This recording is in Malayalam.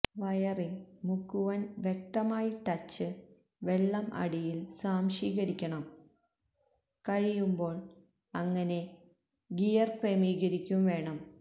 വയറിങ് മുക്കുവന് വ്യക്തമായി ടച്ച് വെള്ളം അടിയിൽ സ്വാംശീകരിക്കണം കഴിയുമ്പോൾ അങ്ങനെ ഗിയർ ക്രമീകരിക്കും വേണം